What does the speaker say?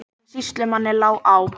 En sýslumanni lá á.